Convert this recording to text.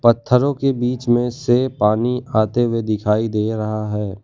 पत्थरों के बीच में से पानी आते हुए दिखाई दे रहा है।